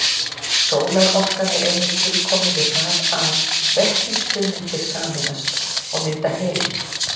Sólarorkan er einmitt tilkomin við það að vetnisfrumeindir sameinast og mynda helíum.